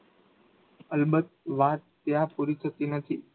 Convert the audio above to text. અલબત્ત વાત ત્યાં પૂરી થતી નથી